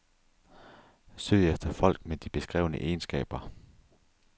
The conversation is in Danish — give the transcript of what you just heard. Søg efter folk med de beskrevne egenskaber.